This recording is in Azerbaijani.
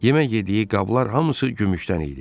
Yemək yediyi qablar hamısı gümüşdən idi.